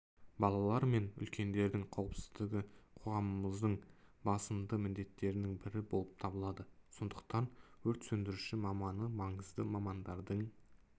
балалар мен үлкендердің қауіпсіздігі қоғамымыздың басымдықты міндеттерінің бірі болып табылады сондықтан өрт сөндіруші маманы маңызды мамандардың